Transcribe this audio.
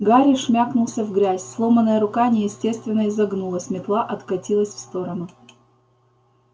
гарри шмякнулся в грязь сломанная рука неестественно изогнулась метла откатилась в сторону